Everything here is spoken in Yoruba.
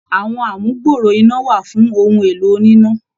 Àwọn amugbooro iná wà fún ohun èlò oníná.